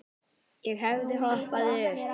Ég hefði hoppað upp.